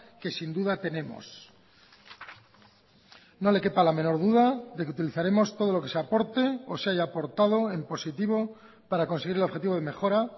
que sin duda tenemos no le quepa la menor duda de que utilizaremos todo lo que se aporte o se haya aportado en positivo para conseguir el objetivo de mejora